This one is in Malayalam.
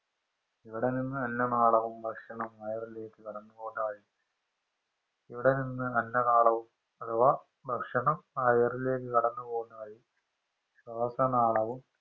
ഇവിടെ നിന്ന് അന്ന നാളവും ഭക്ഷണവും വയറിലേക്ക് കടന്നുപോകാനായിട്ട് ഇവിടെ നിന്ന് അന്ന നാളവും അഥവാ ഭക്ഷണം വയറിലേക്ക് കടന്ന് പോകുന്ന വഴി ശ്വാസനാളവും